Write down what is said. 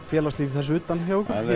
félagslíf þess utan